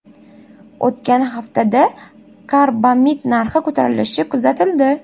O‘tgan haftada karbamid narxi ko‘tarilishi kuzatildi .